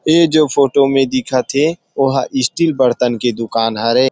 इ जो फोटो में दिखथे ओहा स्टील बर्तन के दुकान हरे।